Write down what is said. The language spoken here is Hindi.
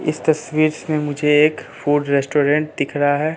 इस तस्वीर से मुझे एक फूड रेस्टोरेंट दिख रहा है।